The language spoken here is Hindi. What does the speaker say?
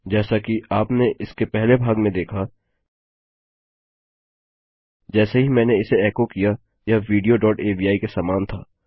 जैसा कि आपने इसके पहले भाग में देखा जैसे ही मैंने इसे एको किया यह विडियो डॉट अवि के समान था